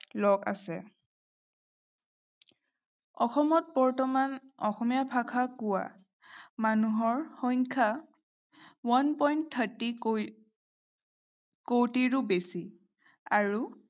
লোক আছে। অসমত বৰ্তমান অসমীয়া ভাষা কোৱা মানুহৰ সংখ্যা one point thirty কো কোটিৰো বেছি। আৰু